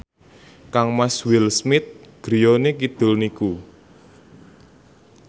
kangmas Will Smith griyane kidul niku